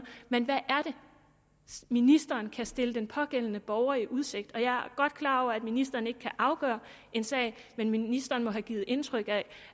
men hvad er det ministeren kan stille den pågældende borger i udsigt og jeg er godt klar over at ministeren ikke kan afgøre en sag men ministeren må have givet indtryk af